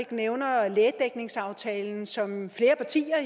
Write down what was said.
ikke nævner lægedækningsaftalen som flere partier